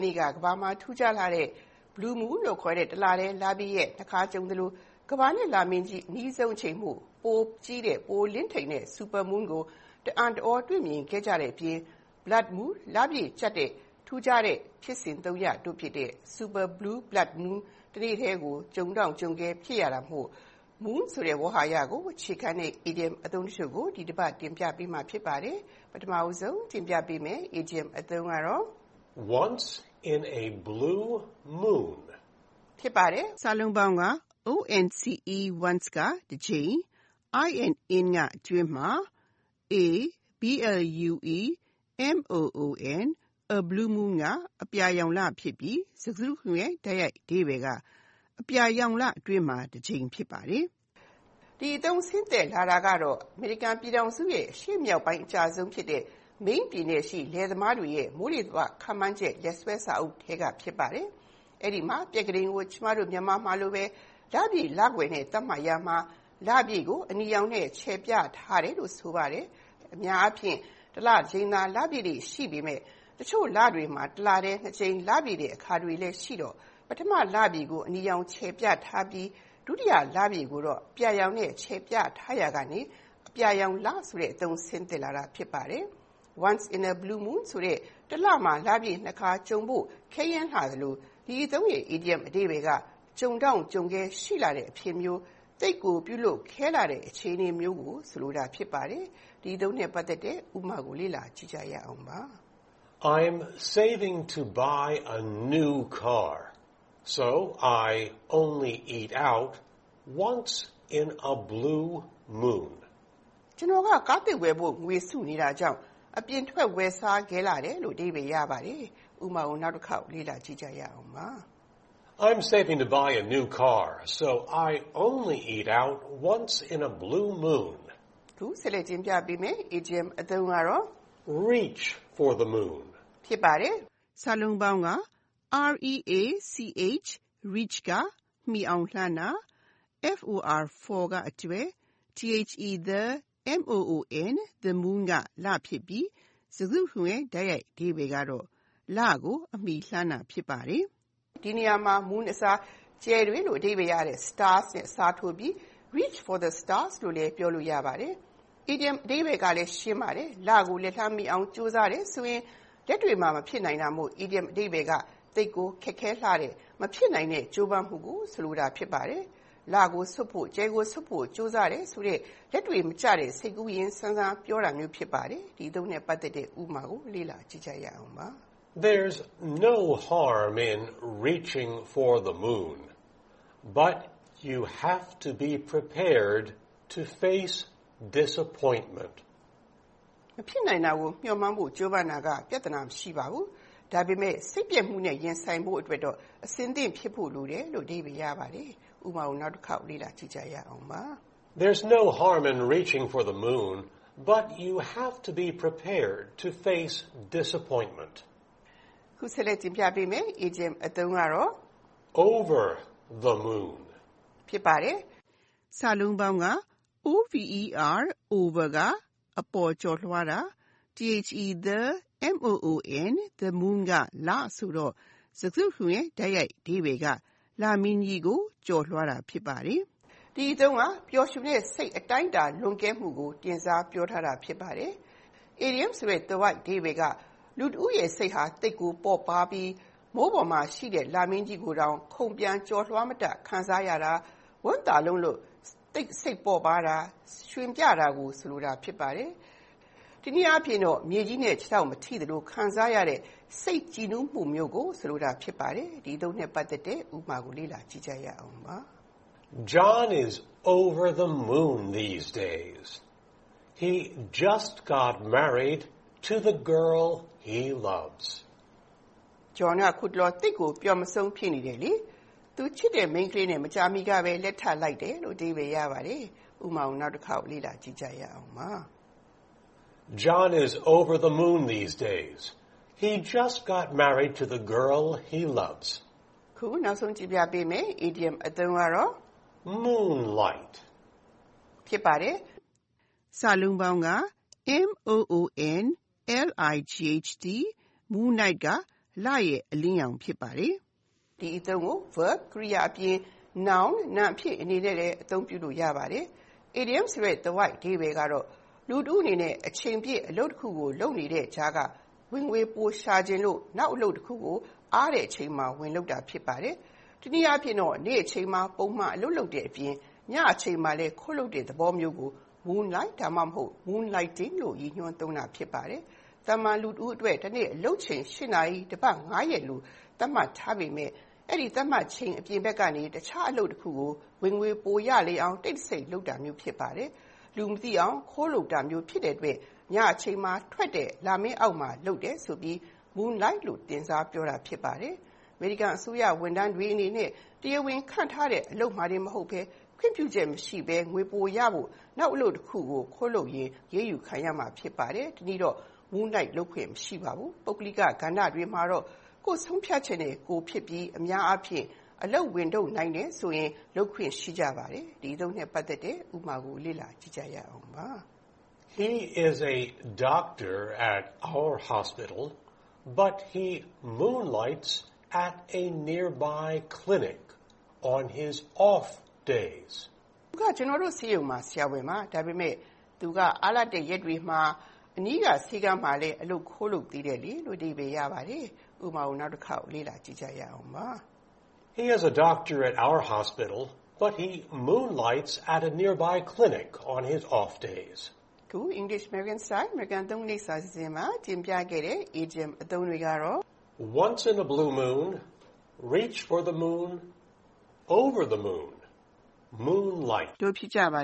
နေ့ က ကမ္ဘာမှာထူးခြားလှတဲ့ Blue Moon လို့ခေါ်တဲ့ တလထဲ လပြည့်ရက် ၂ ခါကြုံသလို ကမ္ဘာနဲ့ လမင်းကြီး အနီးဆုံးအချိန်မို့ ပိုပြီးကြီးတဲ့ ပိုပြီးလင်းထိန်တဲ့ (Super moon) ကို တအံ့တသြ တွေ့မြင်ခဲ့ကြတဲ့အပြင် Blood Moon လအပြည့်ကြတ်တဲ့ ဒီထူးခြားတဲ့ဖြစ်စဉ် သုံးရပ် တို့ဖြစ်တဲ့ Super Blue Blood Moon တနေ့ထဲကြုံတောင့်ကြုံခဲဖြစ်ခဲ့တာမို့် ဒီတပတ် English American-Style Idioms ကဏ္ဍမှာ Moon ကို အခြေခံတဲ့ အီဒီယံအသုံးဖြစ်တဲ့ Once in a blue moon အပါအဝင် Reach for the moon, Over the moon နဲ့ Moonlight တို့ကို တင်ပြထားပါတယ်။ (၁) Once in a blue moon Once (တကြိမ်)၊ in (အတွင်းမှာ)၊ a blue moon (အပြာရောင်လ) ဖြစ်ပြီး၊ စကားစုတခုလုံးရဲ့ လုံးကောက်အဓိပ္ပါယ်က အပြာရောင်လ ထွက်တဲ့တကြိမ်ဖြစ်ပါတယ်။ ဒီအသုံးဆင်းသက်လာတာက၊ အမေရိကန်ပြည်ထောင်စုရဲ့အရှေ့မြောက်ပိုင်းအကျဆုံးဖြစ်တဲ့ Maine ပြည်နယ်ရှိ လယ်သမားတွေရဲ့ မိုးလေဝသခန့်မှန်းခြေ လက်စွဲစာအုပ်ထဲက ဖြစ်ပါတယ်။ အဲဒီမှာ ပြက္ခဒိန်ကို ကျမတို့ မြန်မာမှာလိုပဲ လပြည့်လကွယ်နဲ့ သတ်မှတ်ရာမှာ လပြည့်ကို အနီရောင်နဲ့ ချယ်ပြထားတယ်လို ဆိုပါတယ်။ အများအားဖြင့် တလတကြိမ်သာလပြည့်လေ့ရှိပေမဲ့ ၊ တချို့လတွေမှာ တလတည်း နှစ်ကြိမ်လပြည့်တဲ့ အခါတွေလည်း ရှိတော့ ပထမလပြည့်ကို အနီရောင် ခြယ်ပြထားပြီး၊ ဒုတိယလပြည့်ကိုတော့ အပြာရောင်နဲ့ ခြယ်ပြထားရာကနေ အပြာရောင်လဆိုတဲ့ အသုံးဆင်းသက်လာတာ ဖြစ်ပါတယ်။ Once in a blue moon ဆိုတဲ့ တလမှာ လပြည့်နှစ်ခါ ကြုံဖို့ခဲယဉ်းလှသလို ဒီအသုံးရဲ့အီဒီယံအဓိပ္ပါယ်က ကြုံတောင့်ကြုံခဲ ရှိလှတဲ့အဖြစ်မျိုး၊ သိပ်ကိုပြုလုပ်ခဲလှတဲ့အခြေအနေမျိုး ကိုဆိုလိုတာဖြစ်ပါတယ်။ ဒီအသုံး ဥပမာကို လေ့လာကြည့်ရအောင်ပါ။ I’ve bought a house recently. So lately, to save more money I only eat out once in a blue moon. ကျနော်မကြာသေးမီကဘဲ အိမ်ဝယ်လိုက်တယ်။ ဒါ့ကြောင့် ခုနောက်ပိုင်း ငွေပိုစုနိင်ဖို့၊ အပြင်ထွက်ဝယ်စားခဲတယ်။ (၂) Reach for the moon Reach (မှီအောင်လှမ်းတာ)၊ for (အတွက်)၊ the moon (လမင်း) ဖြစ်ပြီး၊ စကားစုတခုလုံးရဲ့ တိုက်ရိုက်အဓိပ္ပါယ်က လမင်းကြီးကို လှမ်းတာ ဖြစ်ပါတယ်။ ဒီနေရာမှာ Moon အစား ကြယ်တွေလို့ အဓိပ္ပါယ်ရတဲ့ Stars နဲ့အစားထိုးပြီး Reach for the stars လို့လည်း ပြောလို့ရပါတယ်။ အီဒီယံအဓိပ္ပါယ်ကလည်း ရှင်းပါတယ်။ လကို လက်လှမ်းမီအောင် ကြိုးစားတယ်ဆိုရင် လက်တွေ့မှာ မဖြစ်နိုင်တာမို့ အီဒီယံအဓိပ္ပါယ်က သိပ်ကိုခက်ခဲလှတဲ့ ၊ မဖြစ်နိုင်တဲ့ ကြိုးပမ်းမှုကို ဆိုလိုတာ ဖြစ်ပါတယ်။ လကိုဆွတ်ဖို့ ၊ ကြယ်ကိုဆွတ်ဖို့ ကြိုးစားတယ်ဆိုတဲ့ လက်တွေ့မကျတဲ့ ၊ စိတ်ကူးယဉ်ဆန်ဆန်ပြောတာမျိုးဖြစ်ပါတယ်။ ဒီအသုံးနဲ့ ပတ်သက်တဲ့ ဥပမာကို လေ့လာကြည့်ရအောင်ပါ။ There’s no harm in reaching for the moon, but you have to be prepared to face disappointment. မဖြစ်နိုင်တာကို မျှော်မှန်းဖို့ ကြိုးပမ်းတာက ပြဿနာမရှိပါဘူး။ ဒါပေမဲ့လို့ စိတ်ပျက်မှုနဲ့ ရင်ဆိုင်ဖို့အတွက်တော့ အဆင်သင့်ဖြစ်ဖို့ လိုတယ်။ (၃) Over the moon Over (ကျော်လွှားတာ)၊ the moon (လမင်း) ဆိုတော့ စကားစုတခုလုံးရဲ့ တိုက်ရိုက်အဓိပ္ပါယ်က လမင်းကြီးကို ကျော်လွှားတာ ဖြစ်ပါတယ်။ ဒီအသုံးက ပျော်ရွှင်တဲ့စိတ်အတိုင်းအတာ လွန်ကဲမှုကို တင်စားပြောထားတာဖြစ်ပါတယ်။ အီဒီယံအဓိပ္ပါယ်က လူတဦးရဲ့စိတ်ဟာ သိပ်ကိုပေါ့ပါးပြီး မိုးပေါ်မှာရှိတဲ့ လမင်းကြီးကိုတောင်ခုန်ပျံကျော်လွှားမတတ်ခံစားရတာ၊ ဝမ်းသာလွန်းလို့သိပ်ကိုစိတ်ပေါ့ပါးတာ၊ ရွှင်ပျတာကို ဆိုလိုတာ ဖြစ်ပါတယ်။ တနည်းတော့မြေကြီးနဲ့ခြေထောက်မထိသလိုခံစားရတဲ့စိတ်ကြည်နူးမှုမျိုးကိုဆိုလိုပါတယ်။ ဒီအသုံးနဲ့ ပတ်သက်တဲ့ ဥပမာကို လေ့လာကြည့်ရအောင်ပါ။ John is over the moon these days. He got a well-paying job and will soon be getting married to the girl he loves. John က အခုတလော သိပ်ကို ပျော်မဆုံး ဖြစ်နေတယ်။ လခကောင်းတဲ့ အလုပ်လည်း ရထားသလို၊ သူချစ်တဲ့ မိန်းကလေးနဲ့လဲ မကြာမီ လက်ထပ်တော့မှာ ဖြစ်တယ်။ (၄) Moonlight Moon (လမင်း)၊ light (အလင်းရောင်) ဆိုတော့ စကားစုတစုလုံးရဲ့ တိုက်ရိုက်အဓိပ္ပါယ်က လအလင်းရောင်ဖြစ်ပါတယ်။ ဒီအသုံး ကို Verb ကြိယာ အပြင် Noun နာမ် အနေနဲ့လဲအသုံးပြုလို့ရပါတယ်။ အီဒီယံအဓိပ္ပါယ်က လူတဦးအနေနဲ့ အချိန်ပြည့် အလုပ်တခုကိုလုပ်နေတဲ့ကြားက ဝင်ငွေပိုရှာချင်လို့နောက်အလုပ်တခုကို အားတဲ့အချိန်မှာ လုပ်တာ ဖြစ်ပါတယ်။ တနည်းအားဖြင့် နေ့အချိန်မှာ ပုံမှန်အလုပ်လုပ်တဲ့အပြင်၊ ညအချိန်မှာလည်း ခိုးလုပ်တဲ့သဘောမျိုးကို Moonlight ဒါမှမဟုတ် Moonlighting လို့ ရည်ညွှန်းသုံးတာ ဖြစ်ပါတယ်။ သာမာန်လူတဦး အတွက်တနေ့ အလုပ်ချိန် (၈) နာရီ၊ တပတ် (၅) ရက်လို့ သတ်မှတ်ထားပေမဲ့၊ အဲဒီသတ်မှတ်ချိန်အပြင်ဘက်မှာ တခြားအလုပ်တခုကို ဝင်ငွေပိုရအောင်တိတ်တဆိတ်လုပ်တာမျိုးဖြစ်ပါတယ်။ လူမသိအောင်ခိုးလုပ်တာမျိုးဖြစ်တဲ့အတွက်၊ ည အချိန်မှာထွက်တဲ့ လမင်းအောက်မှာလုပ်တယ်ဆိုပြီး Moonlight လို့တင်စားသုံးထားတာဖြစ်ပါတယ်။ အမေရိကန်အစိုးရဝန်ထမ်းတွေအနေနဲ့ တရားဝင်ခန့်ထားတဲ့အလုပ်မှာတင်မဟုတ်ဘဲ၊ ခွင့်ပြုချက်မရှိဘဲငွေပိုရဖို့၊ နောက်အလုပ်တခုကိုခိုးလုပ်ရင်အရေးယူခံရမှာဖြစ်ပါတယ်။ တနည်းတော့ moonlight လုပ်ခွင့်မရှိကြပါဘူး၊ ပုဂ္ဂလိက ကဏ္ဍတွေမှာတော့ကိုယ့်ဆုံးဖြတ်ချက် နဲ့ကိုယ် ဖြစ်ပြီး၊ အများအားဖြင့် အလုပ်ဝန်ထုပ်ကိုနိုင်တယ်ဆိုရငိလုပ်ခွင့်ရှိကြပါတယ်။ ဒီအသုံးနဲ့ ပတ်သက်တဲ့ ဥပမာကို လေ့လာကြည့်ရအောင်ပါ။ He is a doctor at our hospital, but he moonlights at another hospital during his off days. သူက ကျနော်တို့ ဆေးရုံမှာ ဆရာဝန်ပါ။ ဒါပေမဲ့ သူက အားလပ်တဲ့ရက်တွေမှာတော့ နောက်ဆေးရုံတရုံမှ အလုပ် ခိုးလုပ်နေတယ်။ ဒီတပတ် တင်ပြခဲ့တဲ့ အီဒီယံအသုံးအနှုန်းများမှာ Once in a blue moon, Reach for the moon, Over the moon နဲ့ Moonlight တို့ ဖြစ်ပါ